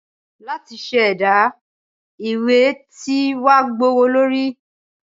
láti se ẹdà- ìwé tí wa gbówólorí.